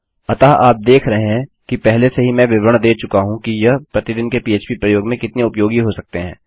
अतः आप देख रहे है कि पहले से ही मैं विवरण दे चुका हूँ कि यह प्रतिदिन के पह्प प्रयोग में कितने उपयोगी हो सकते हैं